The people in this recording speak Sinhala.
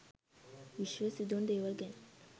විශ්වයේ සිදුවන දේවල් ගැන